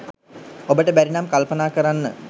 ඔබට බැරි නම් කල්පනා කරන්න